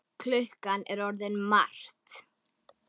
Klukkan er orðin margt.